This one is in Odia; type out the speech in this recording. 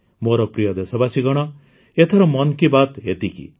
ମୋର ପ୍ରିୟ ଦେଶବାସୀଗଣ ଏଥର ମନ୍ କି ବାତ୍ ଏତିକି